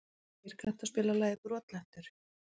Freyr, kanntu að spila lagið „Brotlentur“?